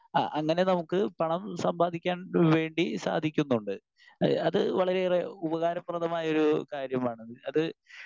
Speaker 1 ആ അങ്ങനെ നമുക്ക് പണം സമ്പാദിക്കാൻ വേണ്ടി സാധിക്കുന്നുണ്ട്. അത് വളരെയേറെ ഉപകാരപ്രദമായ ഒരു കാര്യമാണ്. അത്